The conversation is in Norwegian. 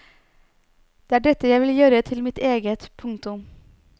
Det er dette jeg vil gjøre til mitt eget. punktum